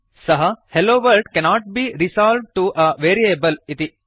सः - hello world cannot be resolved to a variable इति